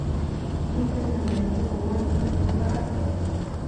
Miten namet nepo ngwony ak nepo parak.